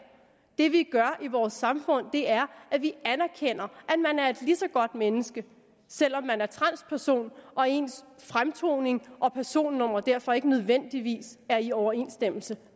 det vi gør i vores samfund er at vi anerkender at man er et lige så godt menneske selv om man er transperson og ens fremtoning og personnummer derfor ikke nødvendigvis er i overensstemmelse